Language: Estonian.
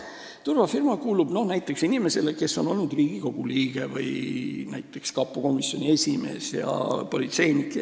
See turvafirma kuulub näiteks inimesele, kes on olnud Riigikogu liige, kapo komisjoni esimees või politseinik.